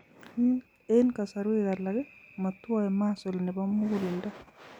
En kasarwek alak , motwoe muscle nebo muguleldo